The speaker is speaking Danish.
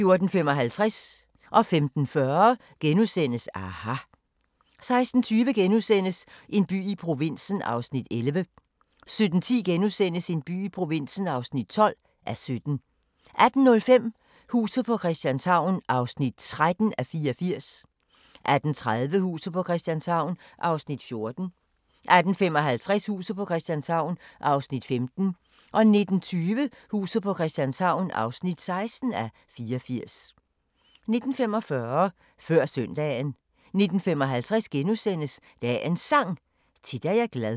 14:55: aHA! * 15:40: aHA! * 16:20: En by i provinsen (11:17)* 17:10: En by i provinsen (12:17)* 18:05: Huset på Christianshavn (13:84) 18:30: Huset på Christianshavn (14:84) 18:55: Huset på Christianshavn (15:84) 19:20: Huset på Christianshavn (16:84) 19:45: Før Søndagen 19:55: Dagens Sang: Tit er jeg glad *